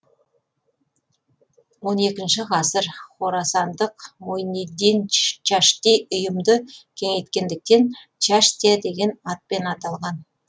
он екінші ғасыр хорасандық муйниддин чашти ұйымды кеңейткендіктен чаштия деген атпен аталған